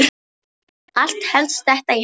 Allt helst þetta í hendur.